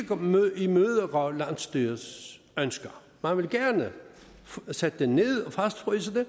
imødekomme landsstyrets ønsker man vil gerne sætte det ned og fastfryse det